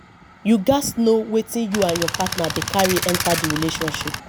you gats know wetin you and your partner dey carry enter di relationship